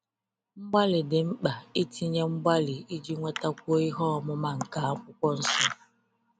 Mgbalị dị mkpa itinye mgbalị iji nwetakwuo ihe ọmụma nke akwụkwọ nsọ